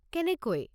কেনেকৈ?